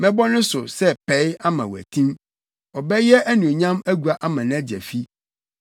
Mɛbɔ ne so sɛ pɛe ama watim, ɔbɛyɛ anuonyam agua ama nʼagya fi.